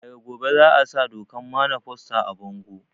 Daga gobe za a sa dokan mana foster a bango